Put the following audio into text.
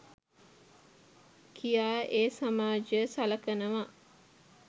කියා ඒ සමාජය සලකනවා.